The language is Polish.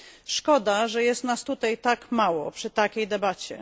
Szkoda, że jest nas tutaj tak mało przy takiej debacie.